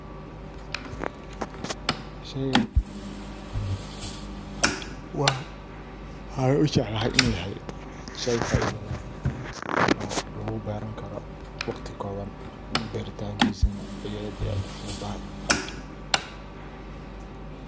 Sheygan waxan u jeclahay inu yahay shey faido leh. Tso lagu beeran karo waqti koban beeritankisa ay aad iyo aad u fududtahay.